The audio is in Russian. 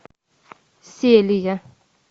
селия